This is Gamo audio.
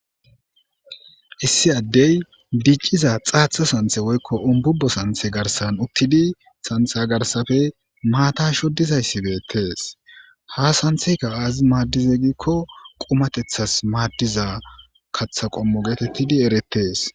Issi adey diciza xatha santhe woykon ububo santhe garsan utidi santha garsappe mata shodizaysi betes ha santheyka azis madize gikko qumatethas madiza katha qomo geteti eretes